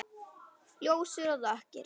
Ljósir og dökkir.